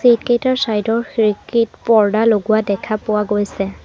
Seat কেইটাৰ side ৰ খিৰিকীত পৰ্দা লগোৱা দেখা পোৱা গৈছে।